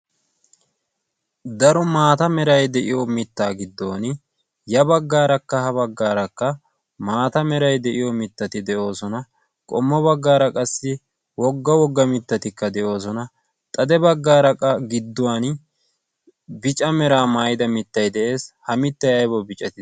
daro maata meray de'iyo mittaa giddon ya baggaarakka ha baggaarakka maata meray de'iyo mittati de'oosona qommo baggaara qassi wogga wogga mittatikka de'oosona xade baggaaraa gidduwan bica meraa maayida mittay de'ees ha mittay aybaw biicatii